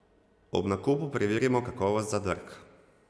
Ob nakupu preverimo kakovost zadrg.